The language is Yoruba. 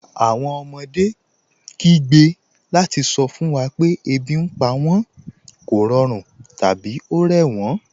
Awọn ọmọdé kìí gbẹ́ lati sọ fun wa pẹ̀ ẹbi ní pa wọn, kọ̀rọ̀run, tabi o rẹ wọn.